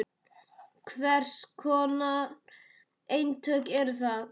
Hvers konar eintök eru það?